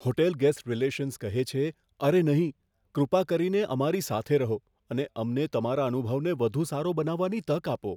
Hotel guest relations કહે છે, અરે નહીં... કૃપા કરીને અમારી સાથે રહો અને અમને તમારા અનુભવને વધુ સારો બનાવવાની તક આપો.